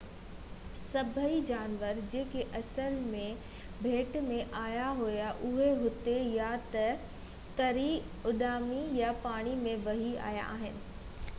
سڀئي جانور جيڪي اصل ۾ ٻيٽ ۾ آيا هئا اهي هتي يا ته تري ، اڏامي يا پاڻي ۾ وهي آيا آهن